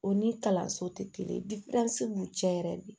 O ni kalanso tɛ kelen b'u cɛ yɛrɛ de